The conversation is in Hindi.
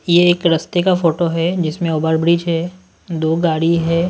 ये एक रास्ते का फोटो है जिसमें ओवर ब्रिज है दो गाड़ी है।